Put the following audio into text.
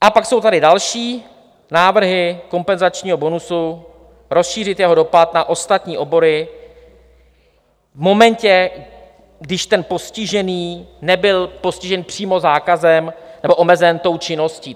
A pak jsou tady další návrhy kompenzačního bonusu, rozšířit jeho dopad na ostatní obory v momentě, když ten postižený nebyl postižen přímo zákazem nebo omezen tou činností.